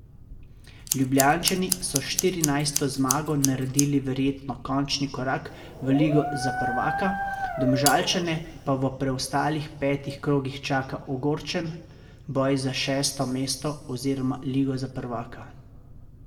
Ljubljančani so s štirinajsto zmago naredili verjetno končni korak v ligo za prvaka, Domžalčane pa v preostalih petih krogih čaka ogorčen boj za šesto mesto oziroma ligo za prvaka.